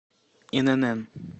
инн